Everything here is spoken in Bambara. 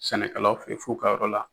Sɛnɛkɛlaw fe ye f'u ka yɔrɔla